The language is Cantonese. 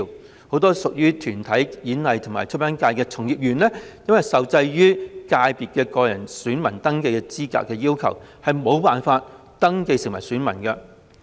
此外，很多屬於體育、演藝及出版界的從業員，也受制於界別個人選民登記資格要求，因而無法登記成為選民。